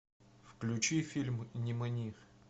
включи фильм нимани